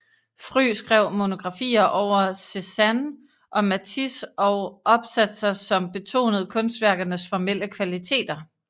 Fry skrev monografier over Cézanne og Matisse og opsatser som betonede kunstværkernes formelle kvaliteter